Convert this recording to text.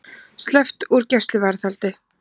Sleppt úr gæsluvarðhaldi